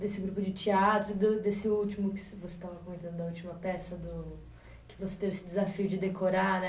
Desse grupo de teatro, e do desse último que você estava comentando, da última peça do, que você teve esse desafio de decorar, né?